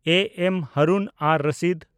A. M. Harun-ar-Rashid